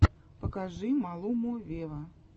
покажи малуму вево